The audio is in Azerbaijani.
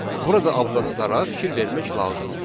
Burada abzazlara fikir vermək lazımdır.